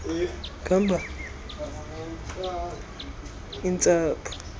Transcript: anzima eenyembezi intsapho